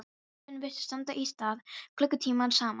Tíminn virtist standa í stað klukkutímum saman.